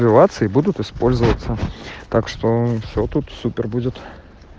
будут использоваться так что все тут супер будет